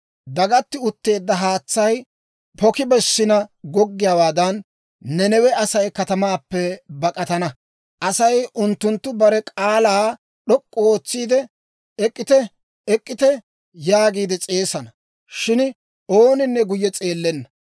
Dagatti utteedda haatsay poki bessina goggiyaawaadan, Nanawe Asay katamaappe bak'atana. Asay unttunttu bare k'aalaa d'ok'k'u ootsiide, «Ek'k'ite; ek'k'ite!» yaagiide s'eesana; shin ooninne guyye s'eellenna.